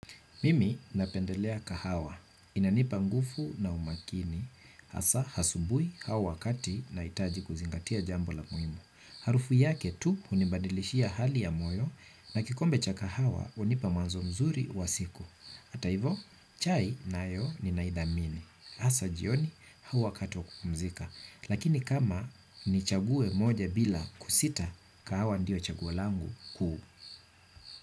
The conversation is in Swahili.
Mimi napendelea kahawa. Inanipa nguvu na umakini hasa asubuhi au wakati nahitaji kuzingatia jambo la muhimu haruhu yake tu hunibadilishia hali ya moyo na kikombe cha kahawa hunipa mawazo mazuri za siku hata hivyo chai nayo naithamini hasa jioni au wakati wa kukumzika. Lakini kama ni chagiwe moja bila kusita, kahawa ndio chaguo langu kuu.